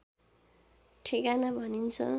ठेगाना भनिन्छ